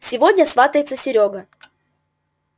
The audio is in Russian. сегодня сватается серёга